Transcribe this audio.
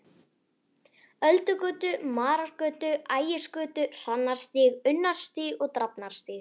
Öldugötu, Marargötu, Ægisgötu, Hrannarstíg, Unnarstíg, Drafnarstíg.